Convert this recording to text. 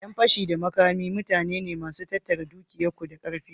Ƴan fashi da makami mutane ne masu tattara dukiyar ku da karfi.